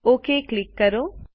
okay પર click કરો